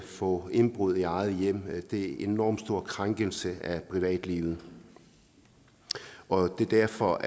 få indbrud i eget hjem er en enormt stor krænkelse af privatlivet og det er derfor